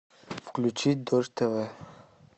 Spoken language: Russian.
включить дождь тв